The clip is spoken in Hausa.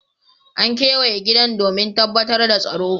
An kewaye gidan domin tabbatar da tsaro.